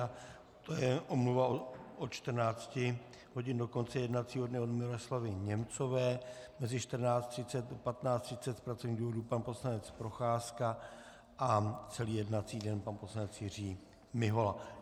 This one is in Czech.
A to je omluva od 14 hodin do konce jednacího dne od Miroslavy Němcové, mezi 14.30 a 15.30 z pracovních důvodů pan poslanec Procházka a celý jednací den pan poslanec Jiří Mihola.